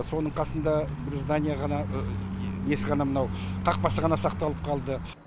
соның қасында здания ғана несі ғана мынау қақпасы ғана сақталып қалды